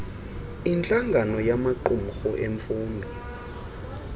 intlangano yamaqumrhu emfundo